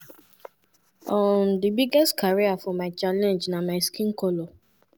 um "di biggest challenge for my career na my skin colour.